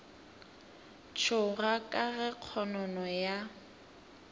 tšhoga ka ge kgonono ya